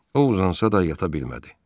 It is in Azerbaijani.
O uzansa da yata bilmədi.